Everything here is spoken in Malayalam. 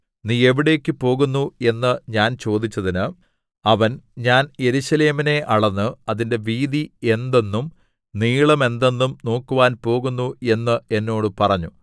നീ എവിടേക്ക് പോകുന്നു എന്നു ഞാൻ ചോദിച്ചതിന് അവൻ ഞാൻ യെരൂശലേമിനെ അളന്ന് അതിന്റെ വീതി എന്തെന്നും നീളം എന്തെന്നും നോക്കുവാൻ പോകുന്നു എന്ന് എന്നോട് പറഞ്ഞു